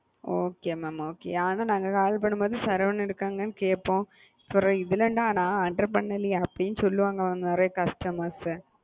Okay mam okay ஆனா நாங்க call பண்ணும்போது சரவணன் இருக்காங்களா னு கேப்போம் பிறகு நா attend பண்ணலையா அப்படி னு சொல்லுவன்ங்க நெறைய customers,